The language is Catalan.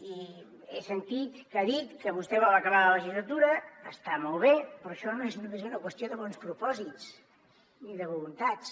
i he sentit que ha dit que vostè vol acabar la legislatura està molt bé però això no és només una qüestió de bons propòsits ni de voluntats